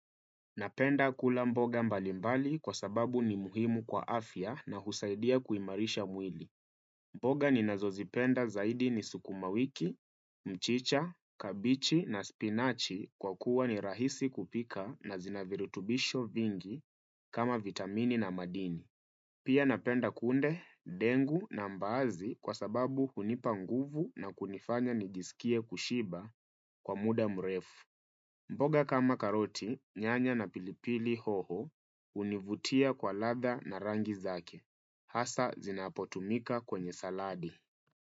Napenda kula mboga mbalimbali kwa sababu ni muhimu kwa afya na husaidia kuimarisha mwili. Mboga ninazozipenda zaidi ni sukuma wiki, mchicha, kabichi na spinachi kwa kuwa ni rahisi kupika na zinavirutubisho vingi kama vitamini na madini. Pia napenda kunde, ndengu na mbaazi kwa sababu hunipa nguvu na kunifanya nijisikie kushiba kwa muda mrefu. Mboga kama karoti, nyanya na pilipili hoho, univutia kwa ladha na rangi zake. Hasa zinapotumika kwenye saladi.